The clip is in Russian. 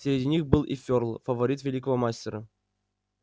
среди них был и фёрл фаворит великого мастера